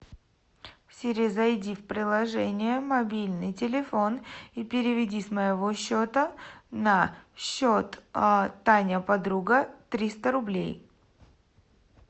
сири зайди в приложение мобильный телефон и переведи с моего счета на счет таня подруга триста рублей